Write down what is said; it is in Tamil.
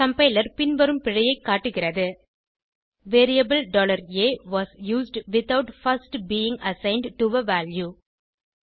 கம்பைலர் பின்வரும் பிழையைக் காட்டுகிறது variable a was used without first being assigned to a value